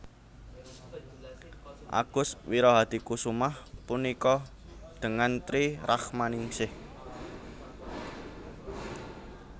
Agus Wirahadikusumah punikah dengan Tri Rachmaningish